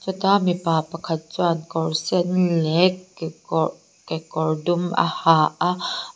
heta mipa pakhat chuan kawr sen leh kekawr kekawr dum a ha a.